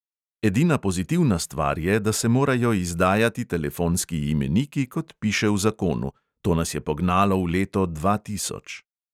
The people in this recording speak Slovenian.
Edina pozitivna stvar je, da se morajo izdajati telefonski imeniki, kot piše v zakonu; to nas je pognalo v leto dva tisoč.